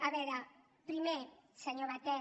a veure primer senyor batet